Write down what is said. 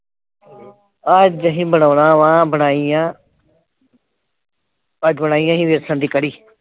ਅੱਜ ਅਸੀਂ ਬਣਾਉਣਾ ਵਾਂ, ਬਣਾਈ ਆ ਅੱਜ ਬਣਾਈ ਅਸੀਂ ਵੇਸਣ ਦੀ ਕੜੀ।